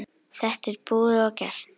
Þetta er búið og gert.